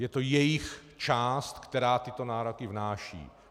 Je to jejich část, která tyto nároky vznáší.